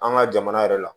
An ka jamana yɛrɛ la